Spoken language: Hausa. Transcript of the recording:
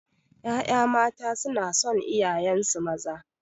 Ƴaƴa mata sunason iyayensu maza